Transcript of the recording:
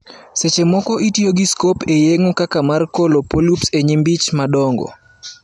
Seche moko itiyo gi scope e yeng'o, kaka mar kolo polups e nyimbi ich madongo.